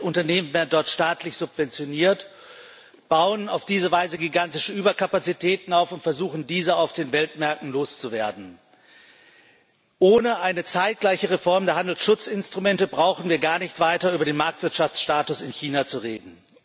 Viele Unternehmen werden dort staatlich subventioniert, bauen auf diese Weise gigantische Überkapazitäten auf und versuchen, diese auf den Weltmärkten loszuwerden. Ohne eine zeitgleiche Reform der Handelsschutzinstrumente brauchen wir gar nicht weiter über den Marktwirtschaftsstatus in China zu reden.